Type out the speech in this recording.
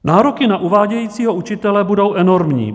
Nároky na uvádějícího učitele budou enormní.